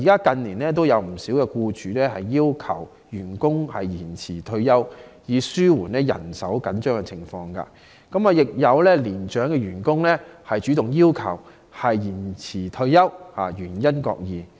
近年已有不少僱主要求員工延遲退休，以紓緩人手緊張的情況，亦有年長員工主動要求延遲退休，原因各異。